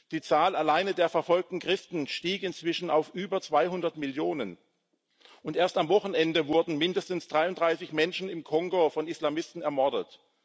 Die Zahl alleine der verfolgten Christen stieg inzwischen auf über 200 Millionen, und erst am Wochenende wurden mindestens 33 Menschen im Kongo von Islamisten ermordet.